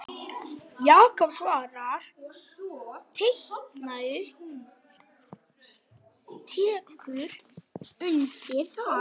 Jakob Svavar tekur undir það.